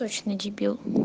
точно дебил